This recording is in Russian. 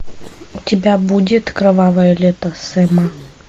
у тебя будет кровавое лето сэма